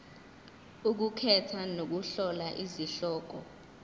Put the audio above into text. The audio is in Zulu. ukukhetha nokuhlola izihloko